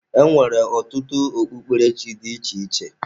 E nwere ọtụtụ ọ kpukperechi dị iche iche.